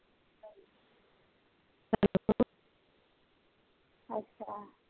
ਅੱਛਾ